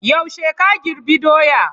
Yaushe ka girbi doya?